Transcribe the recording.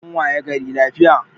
An wayi gari lafiya